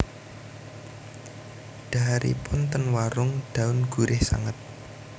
Dhaharipun ten Warung Daun gurih sanget